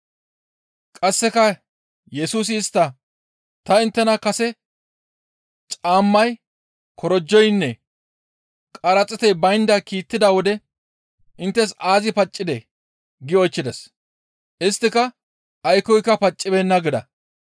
Qasseka Yesusi istta, «Ta inttena kase caammay, korojoynne qaraxiitey baynda kiittida wode inttes aazi paccidee?» gi oychchides. Isttika, «Aykkoyka paccibeenna» gida.